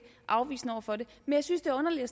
afvisende over for det men jeg synes det er underligt at